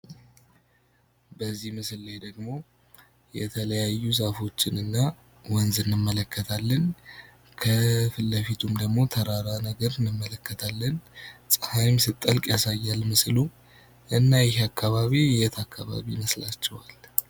በዚህ ምስል ላይ ደሞ የተለያዩ ወንዞችን እና ዛፎችን እንመለከታለን። ከፊት ለፊቱ ደሞ ተራራ ነገር እንመለከታለን ፤ ጸሃይም ስትጠልቅ ያሳያል ምስሉ። እና ይህ አከባቢ የት አከባቢ ይመስላችኋል?